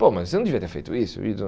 Pô, mas você não devia ter feito isso.